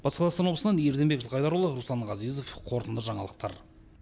батыс қазақстан облысынан ерденбек жылқайдарұлы руслан ғазезов қорытынды жаңалықтар